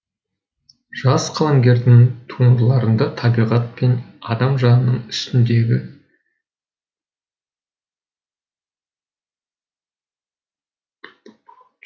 жас қаламгердің туындыларында табиғат пен адам жанының үстіндегі